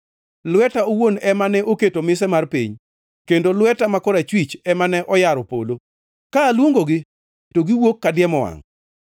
Lweta owuon ema ne oketo mise mar piny kendo lweta ma korachwich ema ne oyaro polo, ka aluongogi to giwuok kadiemo wangʼ.